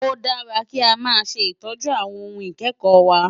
Ó dára kí a máa ṣe ìtọ́jú àwọn ohun ìkẹ́kọ̀ọ́ wa.